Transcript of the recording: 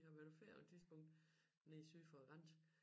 Vi var været på ferie på et tidspunkt nede syd for grænse